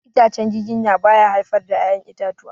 Itacen giginya ba ya haifar da ya'yan itatuwa.